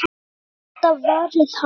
Ég get alltaf varið hana!